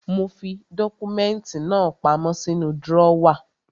Mo fi dọ́kúmẹ́ntì náà pamọ́ sínú drọ́wà.